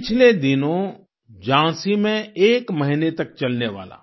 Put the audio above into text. पिछले दिनों झांसी में एक महीने तक चलने वाला